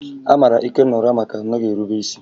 A mara Ikenna ụra maka na ọ naghị erube isi